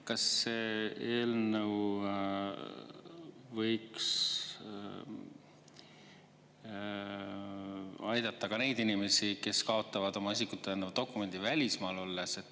Kas see eelnõu võiks aidata ka neid inimesi, kes kaotavad oma isikut tõendava dokumendi välismaal olles?